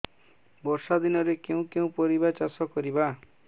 ବର୍ଷା ଦିନରେ କେଉଁ କେଉଁ ପରିବା ଚାଷ କରିବା